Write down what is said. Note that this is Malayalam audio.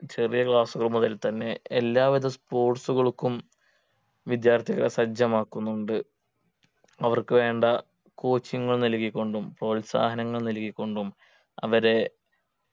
ചെറിയ Class കൾ മുതൽ തന്നെ എല്ലാവരും Sports കൾക്കും വിദ്യാർത്ഥികളെ സജ്ജമാക്കുന്നുണ്ട് അവർക്ക് വേണ്ട Coaching നൽകിക്കൊണ്ടും പ്രോത്സാഹനങ്ങൾ നൽകിക്കൊണ്ടും അവരെ